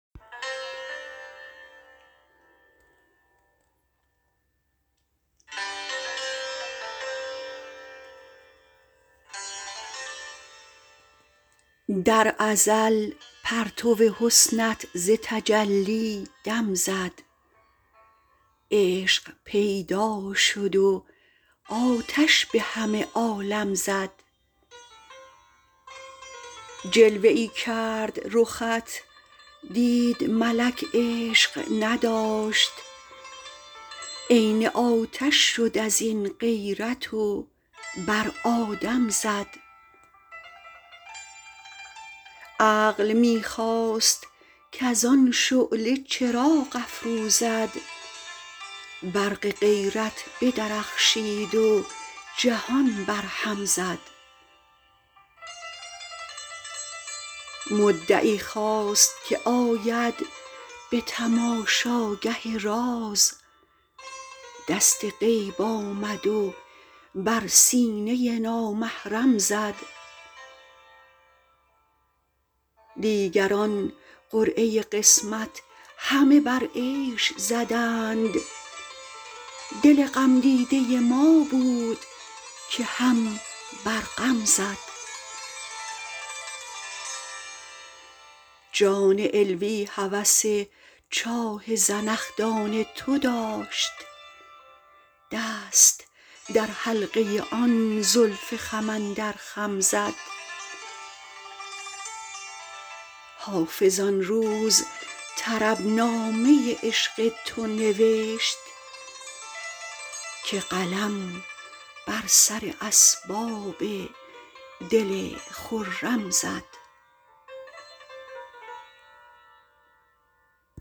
در ازل پرتو حسنت ز تجلی دم زد عشق پیدا شد و آتش به همه عالم زد جلوه ای کرد رخت دید ملک عشق نداشت عین آتش شد از این غیرت و بر آدم زد عقل می خواست کز آن شعله چراغ افروزد برق غیرت بدرخشید و جهان برهم زد مدعی خواست که آید به تماشاگه راز دست غیب آمد و بر سینه نامحرم زد دیگران قرعه قسمت همه بر عیش زدند دل غمدیده ما بود که هم بر غم زد جان علوی هوس چاه زنخدان تو داشت دست در حلقه آن زلف خم اندر خم زد حافظ آن روز طربنامه عشق تو نوشت که قلم بر سر اسباب دل خرم زد